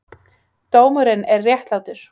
Dómurinn er réttlátur.